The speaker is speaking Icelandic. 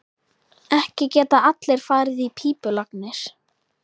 Ekki geta allir farið í pípulagnir.